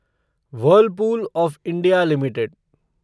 Whirlpool of India limited